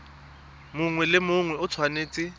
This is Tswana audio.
mongwe le mongwe o tshwanetse